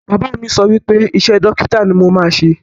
Bàbá mi sọ wípé iṣẹ́ dókítà ni mo máa ṣe